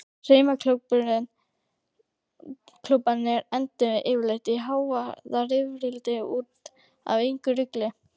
Saumaklúbbarnir enduðu yfirleitt í hávaðarifrildi út af einhverju rugli.